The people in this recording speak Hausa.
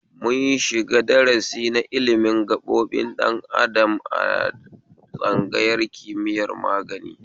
Mun shiga darasi na ilimin gaɓoɓin ɗan adamu a tsangayar kimiyar magani